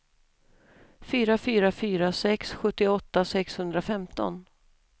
fyra fyra fyra sex sjuttioåtta sexhundrafemton